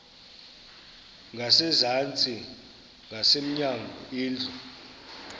ngasezantsi ngasemnyango indlu